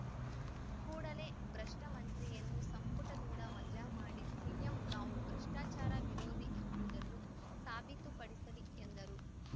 ಕೂಡಲೇ ಭ್ರಷ್ಟಮಂತ್ರಿಯನ್ನು ಸಂಪುಟದಿಂದ ವಜಾ ಮಾಡಿ ಸಿಎಂ ತಾವು ಭ್ರಷ್ಟಾಚಾರ ವಿರೋಧಿ ಎಂಬುದನ್ನು ಸಾಬೀತುಪಡಿಸಲಿ ಎಂದರು